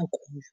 akuyo.